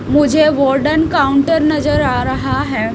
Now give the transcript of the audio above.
मुझे golden counter नजर आ रहा है।